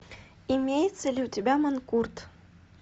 имеется ли у тебя манкурт